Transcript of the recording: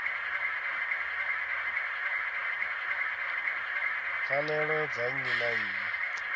pfanelo dza nnyi na nnyi